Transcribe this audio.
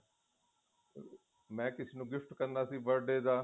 ਮੈ ਕਿਸੇ ਨੂੰ gift ਕਰਨਾ ਸੀ birthday ਦਾ